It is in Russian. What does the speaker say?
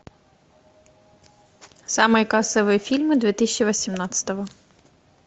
самые кассовые фильмы две тысячи восемнадцатого